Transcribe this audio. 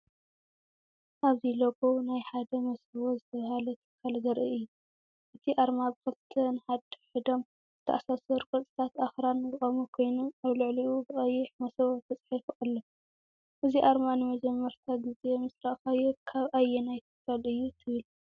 ኣብዚ ሎጎ ናይ ሓደ “መሰቦ” ዝተባህለ ትካል ዘርኢ እዩ። እቲ ኣርማ ብኽልተ ንሓድሕዶም ዝተኣሳሰሩ ቅርጽታት ኣኽራን ዝቖመ ኮይኑ፡ ኣብ ልዕሊኡ ብቐይሕ “መሰቦ” ተጻሒፉ ኣሎ። እዚ ኣርማ ንመጀመርታ ግዜ ምስ ረኣኻዮ ካብ ኣየናይ ትካል እዩ ትብል?